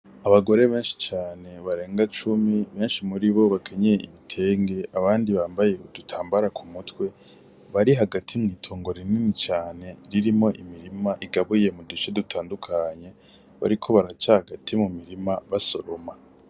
Abagore benshi cane barenga cumi benshi muri bo nibo bakenyeye ibitenge abandi bambaye udutambaro kumutwe bari hagati mw'itongo rinini cane ririmo imirima igabuye mu duce dutandukanye bariko baraca hagati mu mirima basoroma.